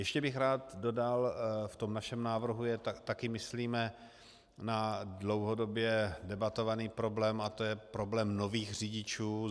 Ještě bych rád dodal - v tom našem návrhu je - také myslíme na dlouhodobě debatovaný problém a to je problém nových řidičů.